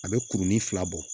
A bɛ kurunin fila bɔ